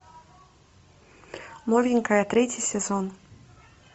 новенькая третий сезон